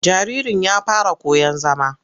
Jaririn ya fara koyon zama.